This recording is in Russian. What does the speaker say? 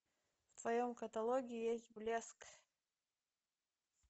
в твоем каталоге есть блеск